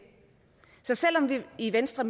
så selv om vi i venstre